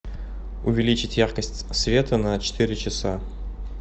увеличить яркость света на четыре часа